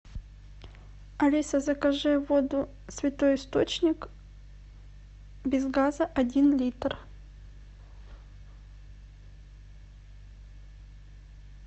алиса закажи воду святой источник без газа один литр